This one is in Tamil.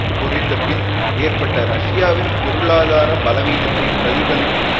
பொறிந்தபின் ஏற்பட்ட ரஷ்யாவின் பொருளாதார பலவீனத்தை பிரதிபலிக்கும்